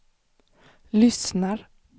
lyssnar